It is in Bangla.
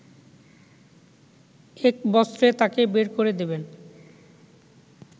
একবস্ত্রে তাকে বের করে দেবেন